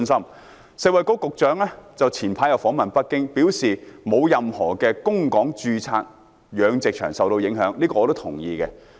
食物及衞生局局長早前訪問北京，表示沒有任何供港註冊養殖場受到影響，這點是我同意的。